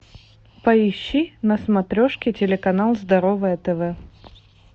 поищи на смотрешке телеканал здоровое тв